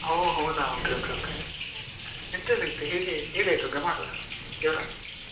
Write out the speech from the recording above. ಓ ಹೌದಾ okay okay okay ಎಂತ ಎಲ್ಲ ಇತ್ತು ಹೇಗೆ ಹೇಗಾಯ್ತು ಗಮಾತ ಜೋರ?